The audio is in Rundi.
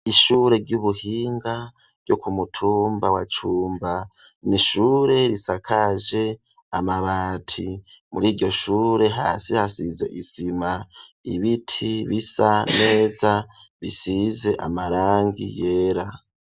Ishure ry'ubuhinga, ryo ku mutumba wa Cumba; n’ishure risakaje amabati; muri iryo shure, hasi hasize isima, ibiti bisa neza, bisize amarangi yera.